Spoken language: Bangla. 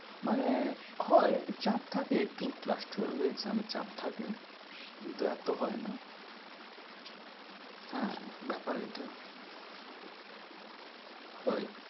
মানে হয় চাপ থাকে একটু class twelve এর exam এ চাপ থাকে কিন্তু এতো হয় না। হ্যাঁ ব্যাপার এটা হয়